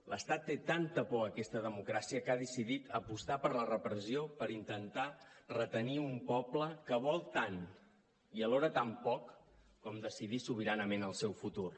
l’estat té tanta por a aquesta democràcia que ha decidit apostar per la repressió per intentar retenir un poble que vol tant i alhora tan poc com decidir sobiranament el seu futur